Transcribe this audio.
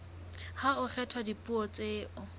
ha ho kgethwa dipuo tseo